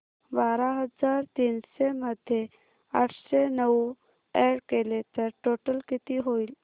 बारा हजार तीनशे मध्ये आठशे नऊ अॅड केले तर टोटल किती होईल